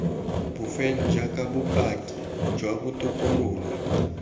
bofelo jaaka bopaki jwa botokololo